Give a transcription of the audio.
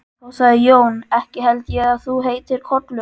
Þá sagði Jón: Ekki held ég að þú heitir Kollur.